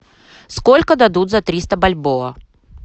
сколько дадут за триста бальбоа